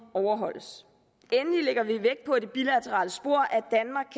overholdes endelig lægger vi vægt på i det bilaterale spor